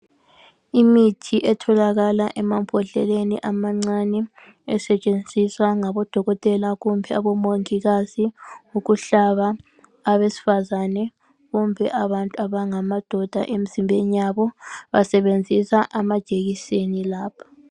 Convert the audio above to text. Imithi etholakala emambodleleni amancane, esetshenziswa ngabodokotela kumbe abomongikazi ukuhlaba abesifazane kumbe abantu abangamadoda emzimbeni yabo. Basebenzisa amajekiseni labo.